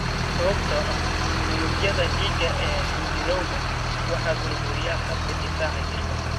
Sababtoo ah unugyadga dhiiga ee xinjirowga waxaa burburiya habka difaaca jirka.